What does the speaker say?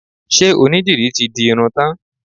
Ṣe onídìrí ti di irun tán?